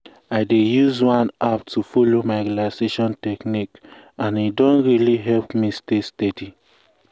i dey use one app to follow my relaxation technique and e don really help me stay steady.